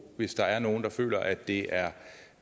hvis der er nogen der føler at det